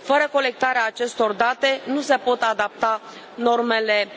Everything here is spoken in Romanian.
Fără colectarea acestor date, nu se pot adapta normele